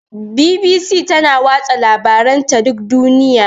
BBC tana watsa labaranta duk duniya.